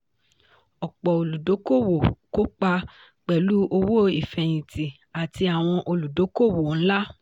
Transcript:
ọ̀pọ̀ olùdókòwò kó pa pẹ̀lú owó ìfẹ̀yìntì àti àwọn olùdókòwò ńlá.